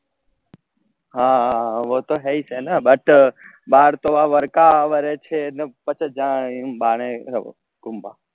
હા વો તો હેઈ છે ને but બાર તો વરકા ન વારે છે ને પછી જાનેક બાણેક